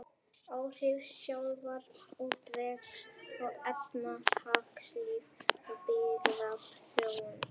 Áhrif sjávarútvegs á efnahagslíf og byggðaþróun.